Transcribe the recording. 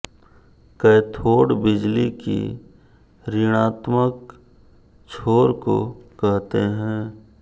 cathode बिजली की ऋणात्मक छोर को कहते हैं